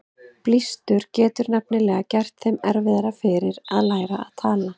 Blístur getur nefnilega gert þeim erfiðara fyrir að læra að tala.